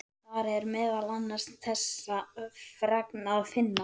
Þar er meðal annars þessa fregn að finna